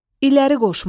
İləri qoşmaq.